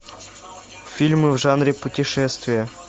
фильмы в жанре путешествия